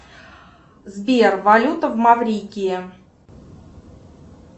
сбер валюта в маврикии